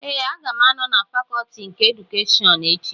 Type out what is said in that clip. Ee, aga m anọ na fakọtị nke edukeshọn echi